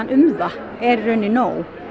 um það er í rauninni nóg